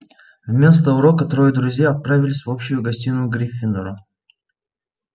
вместо урока трое друзей отправились в общую гостиную гриффиндора